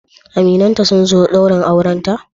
Aminai ta sun zo daurinta?